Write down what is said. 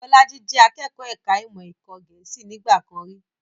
Bolaji jẹ akẹ́kọ̀ọ́ ẹ̀ka ìmọ̀ ẹ̀kọ́ Gẹ̀ẹ́sì nígbà kan rí